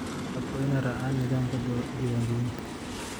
Shacabku waa in ay raacaan nidaamka diiwaangelinta.